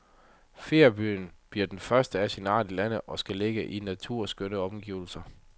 Feriebyen bliver den første af sin art i landet og skal ligge i naturskønne omgivelser.